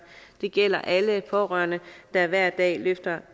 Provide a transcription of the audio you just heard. det gælder alle pårørende der hver dag løfter